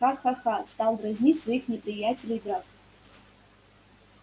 ха-ха-ха стал дразнить своих неприятелей драко